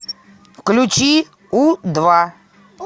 включи у два